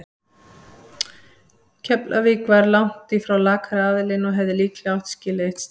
Keflavík var langt í frá lakari aðilinn og hefði líklega átt skilið eitt stig.